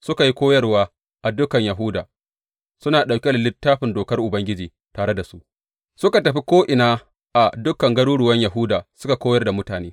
Suka yi koyarwa a dukan Yahuda, suna ɗauke da Littafin Dokar Ubangiji tare da su; suka tafi ko’ina a dukan garuruwan Yahuda suka koyar da mutane.